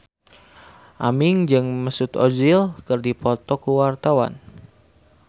Aming jeung Mesut Ozil keur dipoto ku wartawan